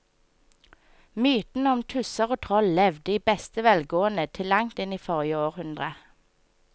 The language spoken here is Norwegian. Mytene om tusser og troll levde i beste velgående til langt inn i forrige århundre.